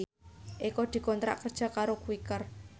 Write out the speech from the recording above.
Eko dikontrak kerja karo Quaker